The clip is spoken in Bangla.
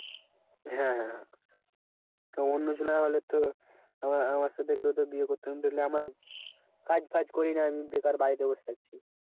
হ্যাঁ তা অন্যজনা হলে তো আমা~ আমার সাথে কেউ তো বিয়ে করতো না তালে আমার কাজ বাজ করি না আমি বেকার বাড়িতে বসে আছি।